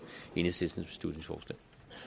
enhedslisten